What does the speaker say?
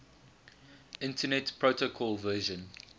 internet protocol version